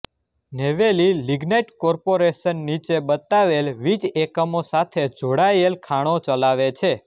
Neyveli lignite corporation નીચે બતાવેલ વીજ એકમો સાથે જોડાયેલ ખાણો ચલાવે છે